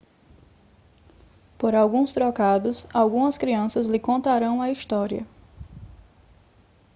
por alguns trocados algumas crianças lhe contarão a história